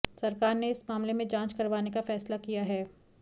सरकार ने इस मामले में जांच करवाने का फैसला किया है